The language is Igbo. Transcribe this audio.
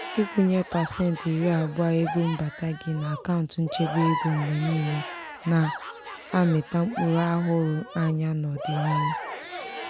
ikwunye pasenti iri abụọ ego mbata gị n'akaụntu nchebe ego mgbe niile na-amita mkpụrụ ahụrụ anya n'ọdịnihu.